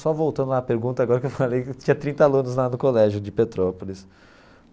Só voltando à pergunta agora que eu falei que tinha trinta alunos lá do colégio de Petrópolis.